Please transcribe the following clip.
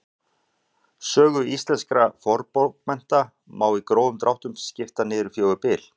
Sögu íslenskra fornbókmennta má í grófum dráttum skipta í fjögur tímabil.